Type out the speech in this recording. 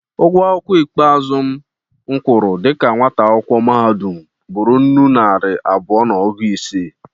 Ụgwọ akwụkwọ ikpe azụ m kwụrụ dịka nwata akwụkwọ mahadụm bụrụ nnụ naịra abụọ na ọgụ ise.